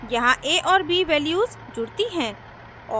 यहाँ a और b values जुड़ती हैं